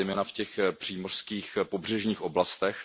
zejména v těch přímořských pobřežních oblastech.